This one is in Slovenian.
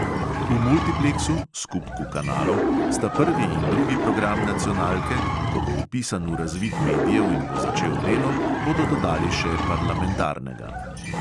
V multipleksu (skupku kanalov) sta prvi in drugi program nacionalke, ko bo vpisan v razvid medijev in bo začel delo, bodo dodali še parlamentarnega.